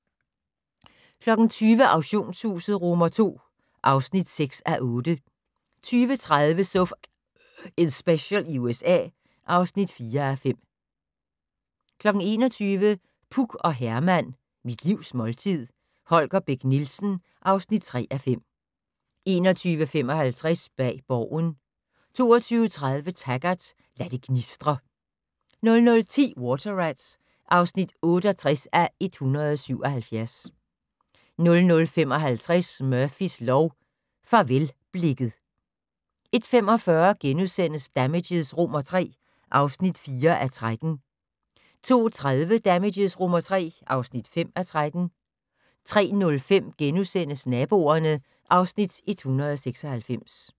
20:00: Auktionshuset II (6:8) 20:30: So F***ing Special i USA (4:5) 21:00: Puk og Herman - Mit livs måltid - Holger Bech Nielsen (3:5) 21:55: Bag Borgen 22:30: Taggart: Lad det gnistre 00:10: Water Rats (68:177) 00:55: Murphys lov: Farvelblikket 01:45: Damages III (4:13)* 02:30: Damages III (5:13) 03:05: Naboerne (Afs. 196)*